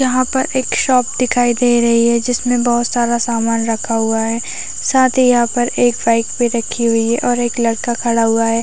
यहाँ पर एक शॉप दिखाई दे रही है जिसमें बहोत सारा सामान रखा हुआ है साथ ही यहाँ पर एक बाइक भी रखी हुई है और एक लड़का खड़ा हुआ है।